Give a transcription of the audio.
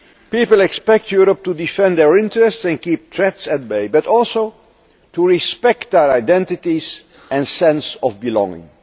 People expect Europe to defend their interests and keep threats at bay, but also to respect their identities and sense of belonging.